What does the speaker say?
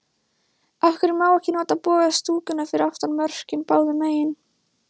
Af hverju má ekki nota boga stúkuna fyrir aftan mörkin báðu megin?